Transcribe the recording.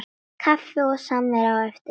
Kaffi og samvera á eftir.